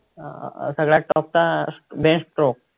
अं सगळ्यात top चा बेन स्ट्रोक